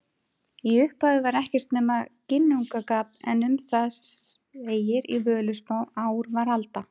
Í upphafi var ekkert nema Ginnungagap en um það segir í Völuspá: Ár var alda,